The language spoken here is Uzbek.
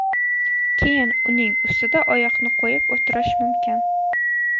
Keyin uning ustida oyoqni qo‘yib o‘tirish mumkin.